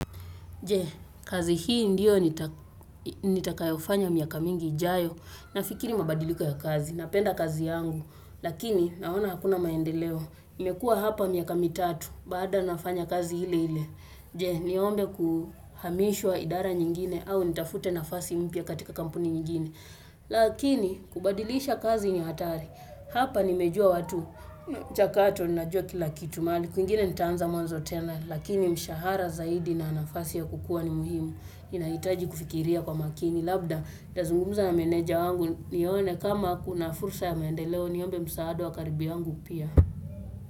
Je, kazi hii ndiyo nitakayofanya miaka mingi jayo, nafikiri mabadiliko ya kazi, napenda kazi yangu, lakini naona hakuna maendeleo, nimekua hapa miaka mitatu, bado nafanya kazi ile ile, je, niombe kuhamishwa idara nyingine au nitafute nafasi mpya katika kampuni nyingine. Lakini kubadilisha kazi ni hatari Hapa nimejua watu Chakato ninajua kila kitu kwingine nitaanza mwanzo tena Lakini mshahara zaidi na nafasi ya kukua ni muhimu Inaitaji kufikiria kwa makini Labda nitazungumza na meneja wangu nione kama kuna fursa ya maendeleo Niombe msaada wa karibu yangu pia.